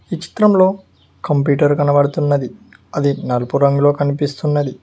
ఈ చిత్రంలో కంప్యూటర్ కనపడుతున్నది అది నలుపు రంగులో కనిపిస్తున్నది.